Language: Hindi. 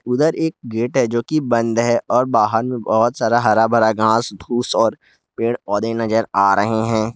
उधर एक गेट है जो कि बंद है और बाहर में बहुत सारा हरा भरा घांस धुंस और पेड़ पौधे नजर आ रहे हैं।